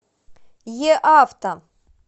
еавто